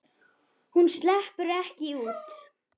Hún sleppur ekki út.